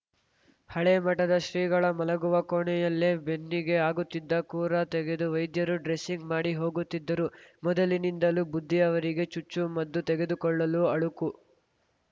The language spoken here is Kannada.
ಹಳೇ ಮಠದ ಶ್ರೀಗಳ ಮಲಗುವ ಕೋಣೆಯಲ್ಲೇ ಬೆನ್ನಿಗೆ ಆಗುತ್ತಿದ್ದ ಕುರ ತೆಗೆದು ವೈದ್ಯರು ಡ್ರೆಸಿಂಗ್‌ ಮಾಡಿ ಹೋಗುತ್ತಿದ್ದರು ಮೊದಲಿನಿಂದಲೂ ಬುದ್ಧಿ ಅವರಿಗೆ ಚುಚ್ಚು ಮದ್ದು ತೆಗೆದುಕೊಳ್ಳಲು ಅಳುಕು